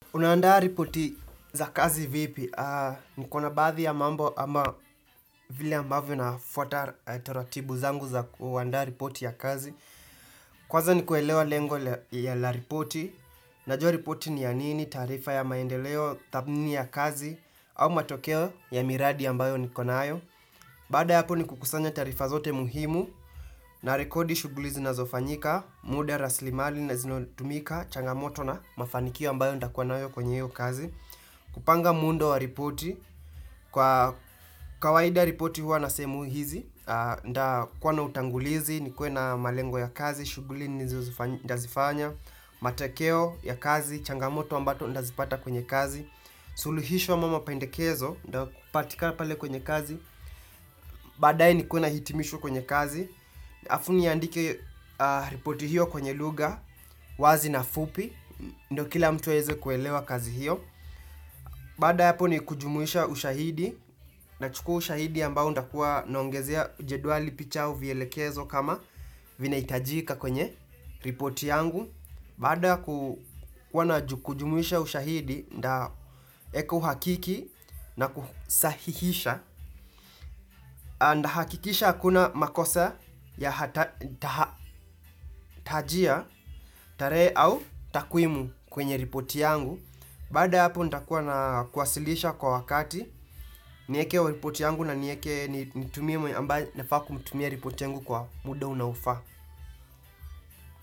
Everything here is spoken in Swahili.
Unaandaa ripoti za kazi vipi? Niko na baadhi ya mambo ama vile ambavyo nafwata taratibu zangu za kuandaa ripoti ya kazi. Kwanza ni kuelewa lengo ya la ripoti. Najua ripoti ni ya nini, taarifa ya maendeleo, tathmini ya kazi, au matokeo ya miradi ambayo nikonayo. Baada ya apo ni kukusanya taarifa zote muhimu na rekodi shuguli zinazofanyika, muda, rasilimali zinatumika, changamoto na mafanikio ambayo ntakua nayo kwenye hio kazi. Kupanga muundo wa ripoti, kwa kawaida ripoti huwa na sehemu hizi, nitakuwa na utangulizi, nikuwe na malengo ya kazi, shuguli nitazifanya, matekeo ya kazi, changamoto ambato nitazipata kwenye kazi, suluhisho ama mapendekezo, nitakupatika pale kwenye kazi, badae nikuwe na hitimisho kwenye kazi, alafu niandike ripoti hiyo kwenye lugha, wazi na fupi, ndio kila mtu aeze kuelewa kazi hiyo. Baada ya apo ni kujumuisha ushahidi nachukua ushahidi ambao nitakua naongezea jeduali picha au vielekezo kama vinahitajika kwenye ripoti yangu. Baada ya kujumuisha ushahidi nitaeka uhakiki na kusahihisha nitahakikisha hakuna makosa ya tahajia tarehe au takwimu kwenye ripoti yangu. Baada ya hapo nitakuwa na kuwasilisha kwa wakati Niekee repoti yangu na nitumie mwenye ambae nafaa kumtumia repoti yangu kwa muda unaofaa.